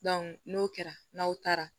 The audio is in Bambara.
n'o kɛra n'aw taara